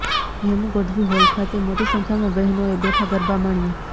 Hemu Gadhvi hall ખાતે મોટી સંખ્યામાં બહેનોએ બેઠા ગરબાં માણ્યાં